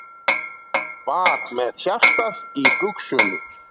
Var með hjartað í buxunum